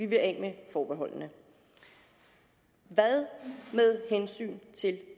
vil af med forbeholdene hvad med